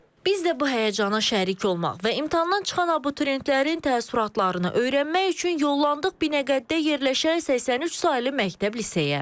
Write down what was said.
Biz də bu həyəcana şərik olmaq və imtahandan çıxan abituriyentlərin təəssüratlarını öyrənmək üçün yollandıq Binəqədidə yerləşən 83 saylı məktəb liseyə.